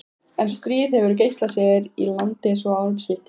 En stríð hefur geisað hér í landi svo árum skiptir.